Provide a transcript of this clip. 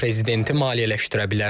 Mask prezidenti maliyyələşdirə bilər.